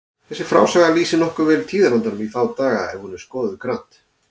Þessi frásaga lýsir nokkuð vel tíðarandanum í þá daga ef hún er skoðuð grannt.